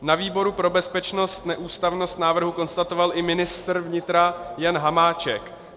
Na výboru pro bezpečnost neústavnost návrhu konstatoval i ministr vnitra Jan Hamáček.